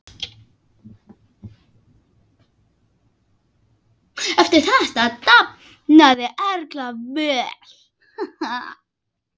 Eftir þetta dafnaði Erla vel.